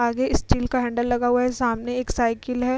आगे स्टील का हैंडल लगा हुआ है। सामने एक साइकिल है।